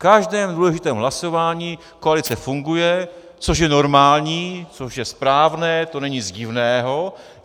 V každém důležitém hlasování koalice funguje, což je normální, což je správné, to není nic divného.